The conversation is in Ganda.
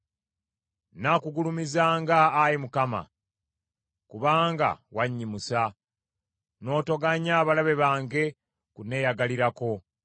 Nnaakugulumizanga, Ayi Mukama , kubanga wannyimusa; n’otoganya balabe bange kunneeyagalirako.